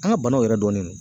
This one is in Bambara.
An ga banaw yɛrɛ dɔnnen do